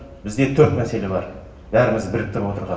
бізде төрт мәселе бар бәрімізді біріктіріп отырған